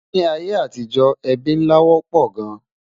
Nì ayé àtijó, ébí nlá wópò gán